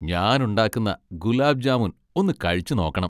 ഞാൻ ഉണ്ടാക്കുന്ന ഗുലാബ് ജാമുൻ ഒന്ന് കഴിച്ചുനോക്കണം.